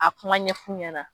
A kuma ɲɛ fu ɲɛna.